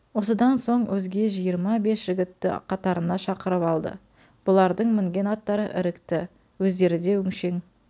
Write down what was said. осыдан соң өзге жиырма бес жігітті қатарына шақырып алды бұлардың мінген аттары ірікті өздері де өншең